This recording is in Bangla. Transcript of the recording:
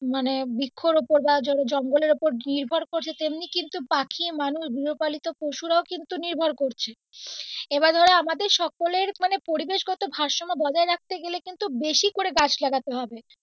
মানে বৃক্ষর ওপর যারা ধরো জঙ্গলের ওপর নির্ভর করছে তেমনি কিন্তু পাখি মানুষ গৃহপালিত পশুরাও কিন্তু নির্ভর করছে এবার ধরো আমাদের সকলের মানে পরিবেষগত ভারসাম্য বজায় রাখতে গেলে কিন্তু বেশি করে গাছ লাগাতে হবে।